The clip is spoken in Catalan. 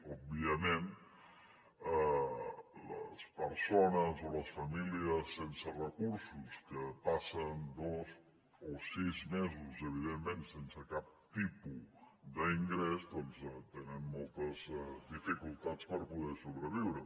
òbviament les persones o les famílies sense recursos que passen dos o sis mesos evidentment sense cap tipus d’ingrés doncs tenen moltes dificultats per poder sobreviure